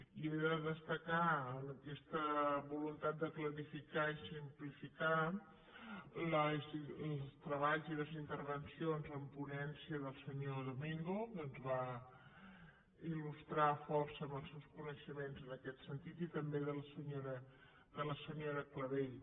i he de destacar en aquesta voluntat de clarificar i simplificar els treballs i les intervencions en ponència del senyor domingo que ens va il·lustrar força amb els seus coneixements en aquest sentit i també de la senyora clavell